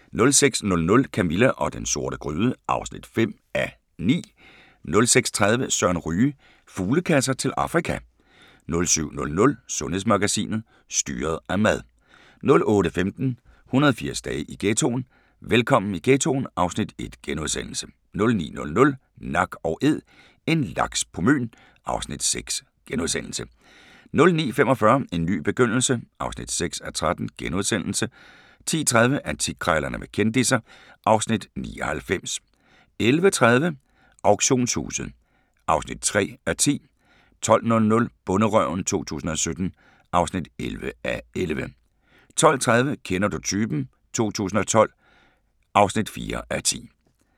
06:00: Camilla og den sorte gryde (5:9) 06:30: Søren Ryge: Fuglekasser til Afrika 07:00: Sundhedsmagasinet: Styret af mad 08:15: 180 dage i ghettoen: Velkommen i ghettoen (Afs. 1)* 09:00: Nak & Æd - en laks på Møn (Afs. 6)* 09:45: En ny begyndelse (6:13)* 10:30: Antikkrejlerne med kendisser (Afs. 99) 11:30: Auktionshuset (3:10) 12:00: Bonderøven 2017 (11:11) 12:30: Kender du typen? 2012 (4:10)